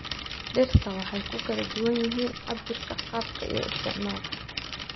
Dhirta waxay ku kala duwan yihiin cabbirka, qaabka, iyo isticmaalka.